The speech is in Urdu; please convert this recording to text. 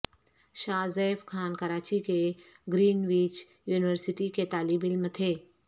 شاہ زیب خان کراچی کی گرین وچ یونیورسٹی کے طالب علم تھے